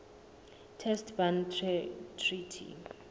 test ban treaty